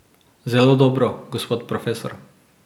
Zelo dobro, gospod profesor.